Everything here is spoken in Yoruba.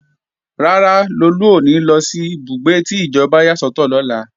Rárá, Lolú ò ní lọ sí ìbúgbé tí ìjọba yà sọ́tọ̀ lọ́la